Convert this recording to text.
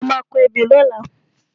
A má a kọ ebè lọ́la.